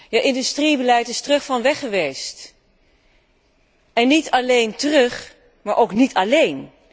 Het industriebeleid is terug van weggeweest, en niet alleen terug, maar ook niet alléen.